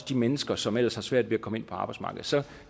de mennesker som ellers har svært ved at komme ind på arbejdsmarkedet så